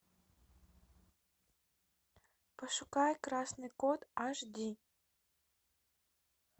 пошукай красный код аш ди